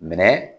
Minɛ